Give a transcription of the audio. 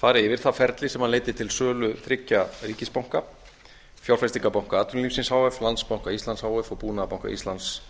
fari yfir það ferli sem leiddi til sölu þriggja ríkisbanka fjárfestingarbanka atvinnulífsins h f landsbanka íslands h f og búnaðarbanka íslands